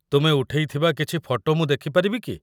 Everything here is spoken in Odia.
ତୁମେ ଉଠେଇଥିବା କିଛି ଫଟୋ ମୁଁ ଦେଖିପାରିବି କି?